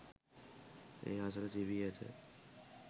ඒ අසල තිබී ඇත.